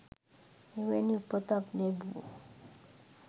එවැනි උපතක් ලැබූ